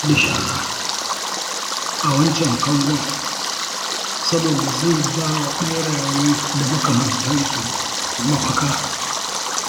An hana zubar da shara a wancan kangon saboda zai ba wa ɓeraye da makamantansu mafaka